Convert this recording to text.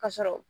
Ka sɔrɔ